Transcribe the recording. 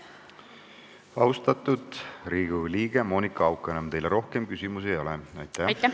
Austatud Riigikogu liige Monika Haukanõmm, teile rohkem küsimusi ei ole.